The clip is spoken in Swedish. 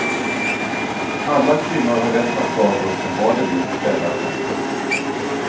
Alla kvinnor har rätt att gå av bussen var de vill kvällar och nätter.